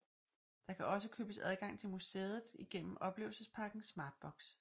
Der kan også købes adgang til museet igennem oplevelspakken Smartbox